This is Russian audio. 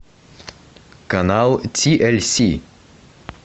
канал ти эль си